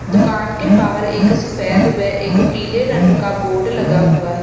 दुकान के बाहर एक सफेद व एक पीले रंग का बोर्ड लगा हुआ है।